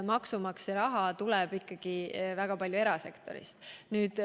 Maksumaksja raha tuleb ikka väga paljuski erasektorist.